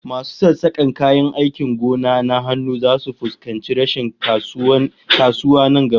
Masu sassakan kayan aikin gona na hannu zasu fuskanci rashin kasuwa nan gaba